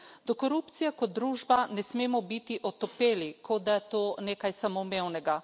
Do korupcije kot družba ne smemo biti otopeli, kot da je to nekaj samoumevnega.